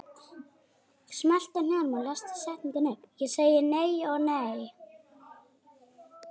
Ég segi nei og nei.